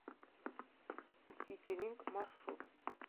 ситилинк маршрут